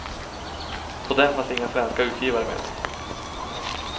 På den fanns inga svenska utgivare med.